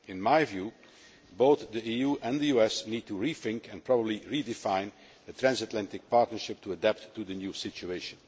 In my view, both the EU and the US need to rethink and probably redefine the transatlantic partnership to adapt to the new situation.